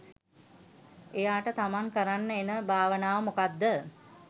එයාට තමන් කරන්න එන භාවනාව මොකක්ද?